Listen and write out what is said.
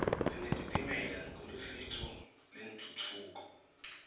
sinetitimela ngelusito lentfutfuko